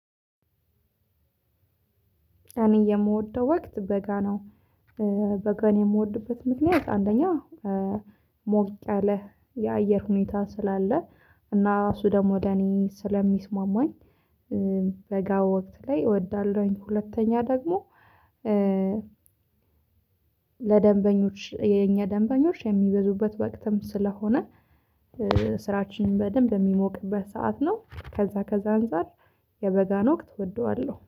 እኔ የምወደው ወቅት በጋ ነው። እ በጋን የምወድበት ምክንያት አንደኛ ሞቅ ያለ የአየር ሁኔታ ስላለ እና እሱ ደግሞ ለእኔ ስለሚስማማኝ። በጋ ወቅት ላይ እወዳለሁኝ። ሁለተኛ ደግሞ ለደንበኞች የኛ ደንበኞች የሚበዙበት ወቅተም ስለሆነ። ስራችንን በደንብ የሚሞቅበት ሰዓት ነው። ከዛ ከዛ አንፃር የበጋን ወቅት እወደዋለሁ